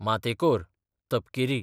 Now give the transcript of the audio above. मातेकोर, तपकिरी